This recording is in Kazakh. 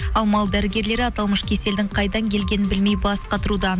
ал мал дәрігерлері аталмыш кеселдің қайдан келгенін білмей бас қатыруда